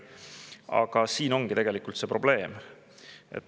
Aga selles ongi tegelikult probleem.